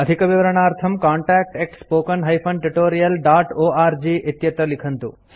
अधिकविवरणार्थं contactspoken tutorialorg इत्यत्र लिखन्तु